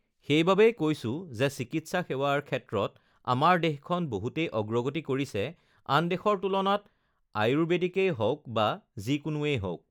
সেইবাবেই কৈছোঁ যে চিকিৎসা সেৱাৰ ক্ষেত্ৰত আমাৰ দেশখন বহুতেই অগ্ৰগতি কৰিছে আন দেশৰ তুলনাত আ আয়ুৰ্বেদিকেই হওঁক বা যিকোনোৱেই হওঁক